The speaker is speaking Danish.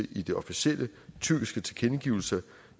synes